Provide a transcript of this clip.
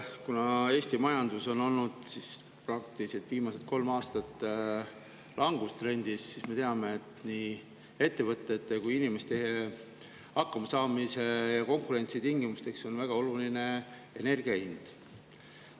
Kuna Eesti majandus on praktiliselt viimased kolm aastat olnud langustrendis, siis me teame, et nii ettevõtete hakkamasaamisel konkurentsitingimustes kui ka inimeste on väga oluline energia hind.